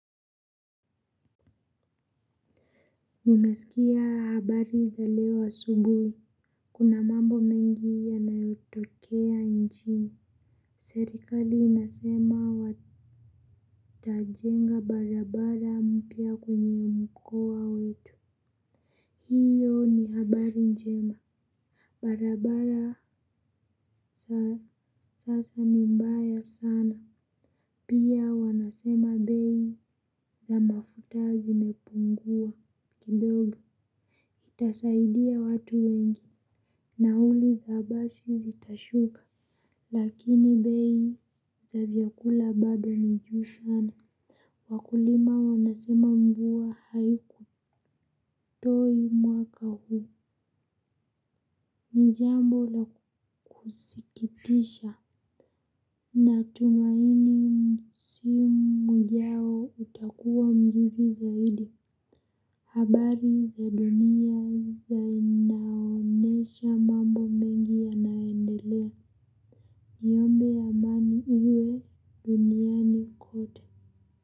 Nimesikia habari za leo asubuhi, kuna mambo mengi yanayotokea nchini, serikali inasema watajenga barabara mpya kwenye mkoa wetu, hiyo ni habari njema, barabara sasa ni mbaya sana, pia wanasema bei za mafuta zimepungua, kidogo, itasaidia watu wengi. Nauli za basi zitashuka lakini bei za vyakula bado ni juu sana. Wakulima wanasema mvua haiku toi mwaka huu. Nijambo la kusikitisha. Natumaini msimu ujao utakuwa mjuju zaidi. Habari za dunia za inaonesha mambo mengi ya naendelea. Le yombe ya mani uwe duniani kote.